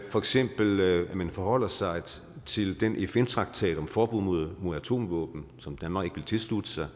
for eksempel at man forholder sig til den fn traktat om forbud mod atomvåben som danmark ikke ville tilslutte sig